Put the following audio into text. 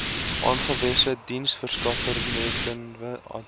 aangewese diensverskaffernetwerke adv